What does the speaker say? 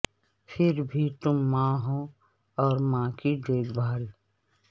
پھر بھی تم ماں ہو اور ماں کی دیکھ بھال